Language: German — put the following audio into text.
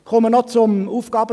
Ich komme zum AFP.